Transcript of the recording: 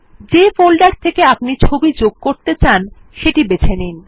যে ফোল্ডার থেকে আপনি ছবি যুক্ত করতে চান সেটি বেছে নিন